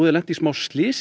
lentir í smá slysi